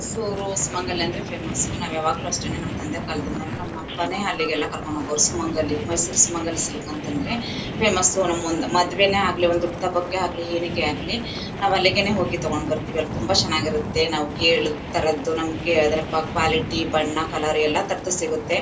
ಮೈಸೂರ್ ಸುಮಂಗಲಿ ಅಂದ್ರೆ ಫೇಮಸ್ಸು . ನಾವ್ ಯಾವಾಗ್ಲೂಅಷ್ಟೇನೆ ನಮ್ ತಂದೆ ಕಾಲದಿಂದಾನು ನಮ್ ಅಪ್ಪನೇ ಅಲ್ಲಿಗೆಲ್ಲ ಕರ್ಕೊಂಡ್ ಹೋಗೋರು. ಸುಮಂಗಲಿ ಮೈಸೂರ್ ಸುಮಂಗಲಿ ಸಿಲ್ಕ್ ಅಂತಂದ್ರೆ ಫೇಮಸ್ಸು . ನಮ್ ಒಂದು ಮದ್ವೆನೇ ಆಗ್ಲಿ ಹುಟ್ಟಿದಹಬ್ಬಕೆ ಆಗ್ಲಿ ಏನಕ್ಕೆ ಆಗ್ಲಿ ನಾವ್ ಅಲ್ಲಿಗೆನೆ ಹೋಗಿ ತಗೊಂಡ್ ಬರ್ತಿವಿ ಅಲ್ ತುಂಬಾ ಚೆನ್ನಾಗಿರುತ್ತೆ. ನಾವ್ ಕೇಳಿದ್ ತರದ್ದು ನಮಗೆ ಅದ್ರ ಕ್ವಾಲಿಟಿ ಬಣ್ಣ ಎಲ್ಲಾತರದ್ದು ಸಿಗತ್ತೆ.